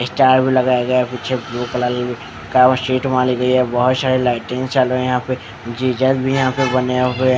Star भी लगाया गया है पीछे ब्लू कलर का सीट भी वहाँ ली गई है बहुत सारे लाइटिंग भी चालू है यहाँ पर जीसस भी यहाँ पर बने हुए है ।